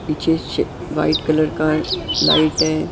पीछे white colour का light है।